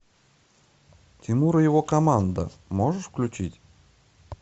тимур и его команда можешь включить